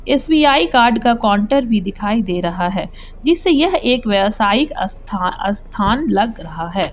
SBI card का counter भी दिखाई दे रहा है जिससे यह एक व्यावसायिक स्थान स्थान लग रहा है।